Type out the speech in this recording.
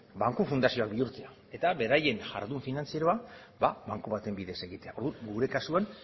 banku fundazioak bihurtzera eta beraien jardun finantzieroa banku baten bidez egitea orduan gure kasuan